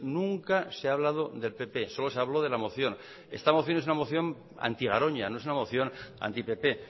nunca se ha hablado del pp solo se habló de la moción esta moción es una moción anti garoña no es una moción anti pp